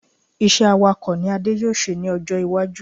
Iṣẹ́ Awakọ̀ ni Adé yóò ṣe ní ọjọ́ iwájú